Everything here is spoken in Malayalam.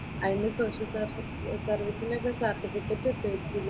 അതിൻറെ സർവീസിന്റെ ഒക്കെ സര്‍ട്ടിഫിക്കറ്റ്‌ കിട്ടുവായിരിക്കുമല്ലേ?